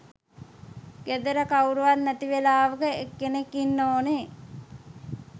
ගෙදර කවුරුත් නැති වෙලාවක් එනකන් ඉන්න ඕනේ.